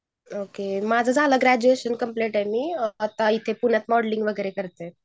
माझ झालंय graduation complete आहे मी आता इथे पुण्यात मॉडेलिंग वगैरे करते.